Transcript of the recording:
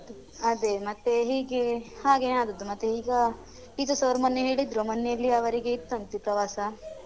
ಅದೇ ಮತ್ತೇ ಹೀಗೆ ಹಾಗೇನೆ ಆದದ್ದು ಮತ್ತೆ ಈಗ teachers ಅವ್ರು ಮೊನ್ನೆ ಹೇಳಿದ್ರು ಮೊನ್ನೆಯಲ್ಲಿಯ ಅವ್ರಿಗೆ ಇತ್ತಂತೆ ಪ್ರವಾಸ.